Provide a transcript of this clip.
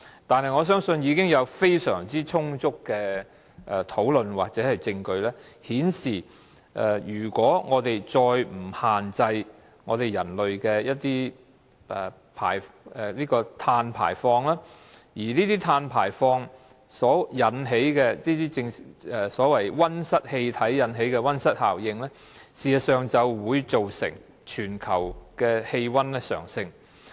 但是，我相信已經有非常充足的討論或證據，顯示如果我們再不限制人類的碳排放，碳排放產生的溫室氣體所引起的溫室效應，事實上會造成全球氣溫上升。